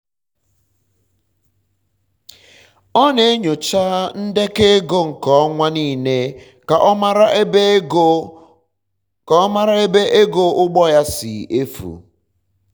ọ na-enyocha ndekọ um ego nke ọnwa nile ka ọ mara ebe ego um ugbo ya si um efu